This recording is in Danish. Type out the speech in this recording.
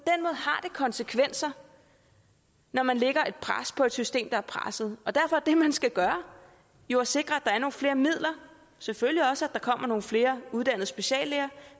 konsekvenser når man lægger et pres på et system der er presset derfor er det man skal gøre jo at sikre at der er nogle flere midler selvfølgelig også at der kommer nogle flere uddannede speciallæger